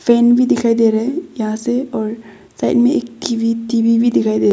fan भी दिखाई दे रहा है यहां से और साइड में एक कीवी टी_वी भी दिखाई दे--